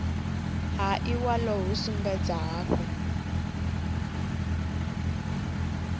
ha iwalo hu sumbedza hafhu